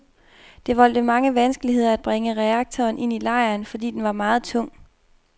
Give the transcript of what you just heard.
Det voldte mange vanskeligheder at bringe reaktoren ind i lejren, fordi den var meget tung.